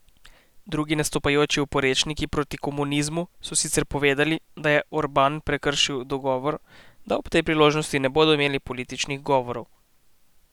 Drugi nastopajoči oporečniki proti komunizmu so sicer povedali, da je Orban prekršil dogovor, da ob tej priložnosti ne bodo imeli političnih govorov.